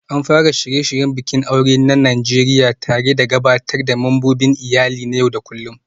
An fara shirye-shiryen bikin aure na Najeriya tare da gabatar da membobin iyali na yau da kullun